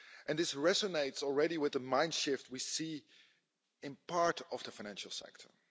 This resonates already with the mind shift we see in part of the financial sector.